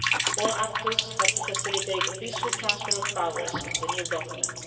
point all actors have to facilitate a peaceful transfer of powers to the new government.